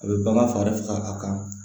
A bɛ bagan faga faga a kan